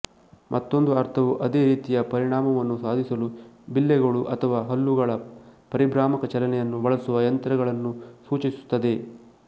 ಮತ್ತೊಂದು ಅರ್ಥವು ಅದೇ ರೀತಿಯ ಪರಿಣಾಮವನ್ನು ಸಾಧಿಸಲು ಬಿಲ್ಲೆಗಳು ಅಥವಾ ಹಲ್ಲುಗಳ ಪರಿಭ್ರಾಮಕ ಚಲನೆಯನ್ನು ಬಳಸುವ ಯಂತ್ರಗಳನ್ನು ಸೂಚಿಸುತ್ತದೆ